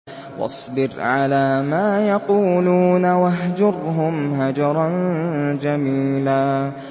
وَاصْبِرْ عَلَىٰ مَا يَقُولُونَ وَاهْجُرْهُمْ هَجْرًا جَمِيلًا